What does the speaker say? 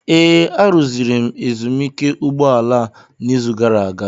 Ee, arụziri m ezumike ụgbọ ala a n'izu gara aga.